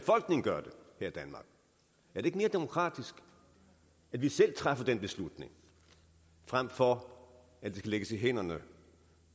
er det ikke mere demokratisk at vi selv træffer den beslutning frem for at det skal lægges i hænderne